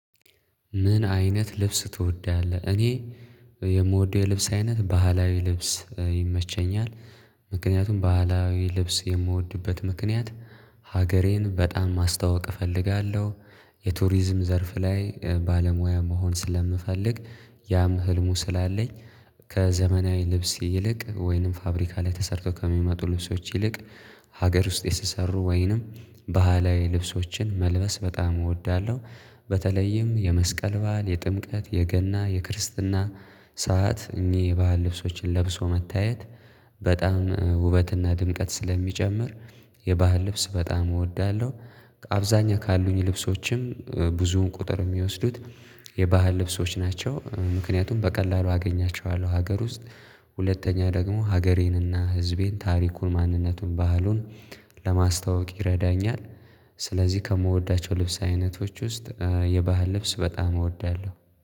ምን አይነት ልብስ ትወዳለህ? እኔ የምወደው የልብስ አይነት ባህላዊ ልብስ ይመቸኛል። ምክንያቱም ባህላዊ ልብስ የምወድበት ምክንያት ሀገሬን በጣም ማስታወቅ እፈልጋለሁ የቱሪዝም ዘርፍ ላይ ባለሙያ መሆን ስለምፈልግ ያም ህልሙ ስላለኝ ከዘመናዊ ልብስ ይልቅ ወይንም ፋብሪካ ላይ ተሰርቶ ከሚመጡ ልብሶች ይልቅ ሀገር ውስጥ የተሰሩ ወይንም ባህላዊ ልብሶችን መልበስ በጣም እወዳለሁ በተለይም የመስቀል በዓል የጥምቀት የገና የክርስትና ሰዓት እኚህ ባህል ልብሶችን ለብሶ መታየት በጣም ውበትና ድምቀት ስለሚጨምር የባህል ልብስ በጣም እወዳለሁ አብዛኛው ካሉኝ ልብሶችም ብዙውን ቁጥር የሚወስዱት የባህል ልብሶች ናቸው። ምክንያቱም በቀላሉ አገኛቸዋለሁ ሀገር ውስጥ። ሁለተኛ ደግሞ ሀገሬንና ህዝቤን ታሪኩን ማንነቱን ባህሉን ለማስታወቅ ይረዳኛል። ስለዚህ ከምወዳቸው ልብስ አይነቶች ውስጥ የባህል ልብስ በጣም እወዳለሁ።